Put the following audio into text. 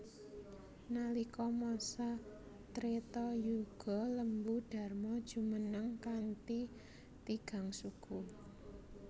Nalika masa Treta Yuga Lembu Dharma jumeneng kanthi tigang suku